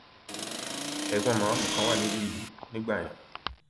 ẹgbọn màmá mi kan wà ní ìlú idow nígbà yẹn